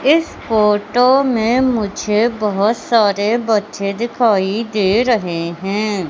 इस फोटो में मुझे बहोत सारे बच्चे दिखाई दे रहे हैं।